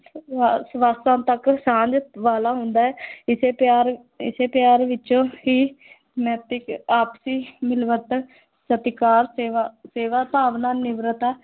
ਸਵਾਸਾਂ ਤੱਕ ਸਾਂਝ ਵਾਲਾ ਹੁੰਦਾ ਹੈ ਇਸੇ ਪਿਆਰ ਇਸੇ ਪਿਆਰ ਵਿੱਚੋਂ ਹੀ ਨੈਤਿਕ, ਆਪਸੀ ਮਿਲਵਰਤਨ, ਸਤਿਕਾਰ, ਸੇਵਾ ਸੇਵਾ ਭਾਵਨਾ, ਨਿਮਰਤਾ